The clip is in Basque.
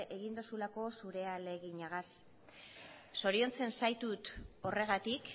egin dozulako zure ahaleginagaz zoriontzen zaitut horregatik